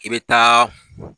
I bɛ taaa.